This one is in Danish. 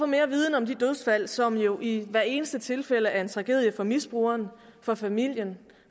mere viden om de dødsfald som jo i hvert eneste tilfælde er en tragedie for misbrugeren for familien